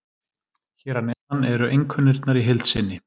Hér að neðan eru einkunnirnar í heild sinni.